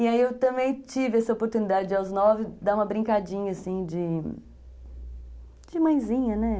E aí eu também tive essa oportunidade, aos nove, de dar uma brincadinha, assim, de... de mãezinha, né?